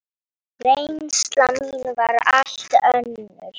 Reynsla mín var allt önnur.